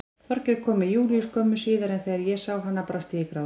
Þorgeir kom með Júlíu skömmu síðar en þegar ég sá hana brast ég í grát.